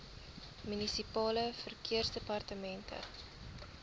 munisipale verkeersdepartemente